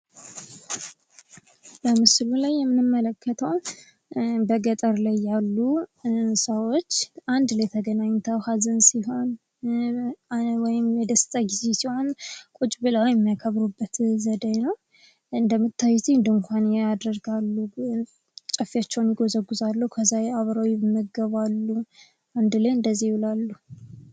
ምስሉ ላይ የምንመለከተው በገጠር አካባቢ ያሉ ሰዎች አንድ ላይ ተገናኝተው ሀዘን ሲያጋጥማቸው ወይም ደስታ ሲያጋጥማቸው ቁጭ ብለው የሚያከብሩበት ነው። ድንኳን ያደርጋሉ፣ ጨፌያቸውን ይጎዘጉዛሉ ከዛ ይመገባሉ፣ አብረው ይውላሉ።